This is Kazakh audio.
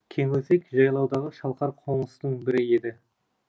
кеңөзек жайлаудағы шалқар қоныстың бірі еді